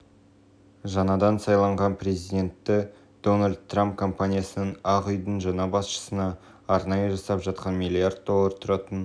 жаңадан сайланған президенті дональд трамп компаниясының ақ үйдің жаңа басшысына арнайы жасап жатқан миллиард доллар тұратын